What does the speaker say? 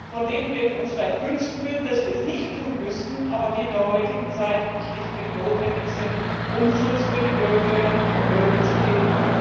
von denen wir uns vielleicht wünschen würden, dass wir es nicht tun müssten, aber die in der heutigen Zeit schlichtweg notwendig sind, um Schutz für die Bürgerinnen und Bürger zu geben.